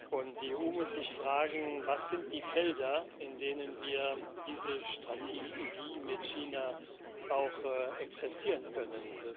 Und die EU muss sich fragen Was sind die Felder, in denen wir diese Strategie mit China auch exerzieren können?